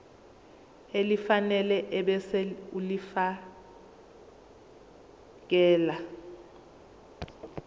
elifanele ebese ulifiakela